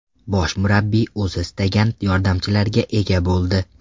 Bosh murabbiy o‘zi istagan yordamchilarga ega bo‘ldi.